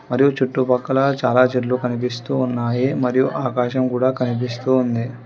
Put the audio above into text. మరియు చుట్టూ పక్కల చాలా చెట్లు కనిపిస్తూ ఉన్నాయి మరియు ఆకాశం కూడా కనిపిస్తూ ఉంది.